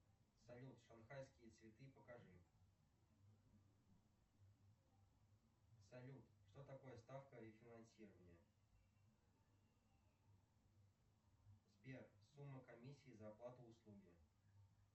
салют шанхайские цветы покажи салют что такое ставка рефинансирования сбер сумма комиссии за оплату услуги